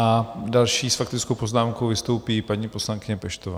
A další s faktickou poznámkou vystoupí paní poslankyně Peštová.